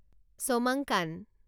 Chomangkan